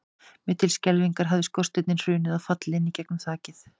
Mér til skelfingar hafði skorsteinninn hrunið og fallið inn í gegnum þakið.